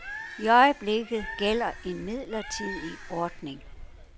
I øjeblikket gælder en midlertidig ordning.